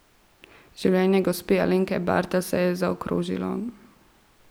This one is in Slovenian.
Življenje gospe Alenke Bartl se je zaokrožilo.